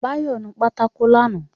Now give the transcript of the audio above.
Báyọ̀ nu pátákó lánàá